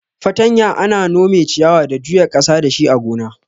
Fartanya ana nome ciyawa da juya ƙasa dashi a gona.